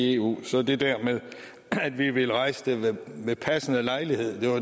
i eu og så det med at vi ville rejse det ved passende lejlighed